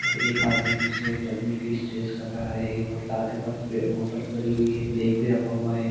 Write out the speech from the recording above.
और एक आदमी दुसरे आदमी के टेस्ट कर रहा है उसे पास एक बोतल पड़ी हुई है बैग भी रखा हुआ है।